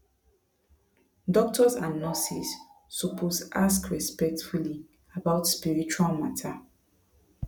doctors and nurses suppose ask respectfully about spiritual matter